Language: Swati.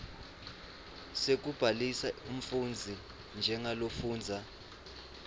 sekubhalisa umfundzi njengalofundza